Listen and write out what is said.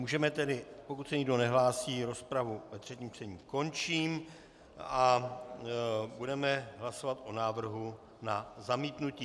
Můžeme tedy... pokud se nikdo nehlásí, rozpravu ve třetím čtení končím a budeme hlasovat o návrhu na zamítnutí.